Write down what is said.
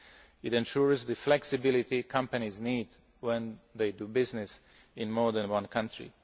It ensures the flexibility companies need when doing business in more than one country.